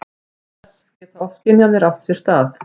Auk þess geta ofskynjanir átt sér stað.